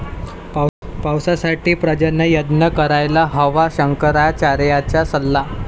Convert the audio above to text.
पावसासाठी पर्जन्ययज्ञ करायला हवा, शंकराचार्यांचा सल्ला